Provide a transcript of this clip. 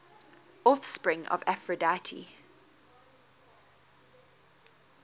offspring of aphrodite